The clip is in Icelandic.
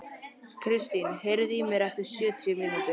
Kristin, heyrðu í mér eftir sjötíu mínútur.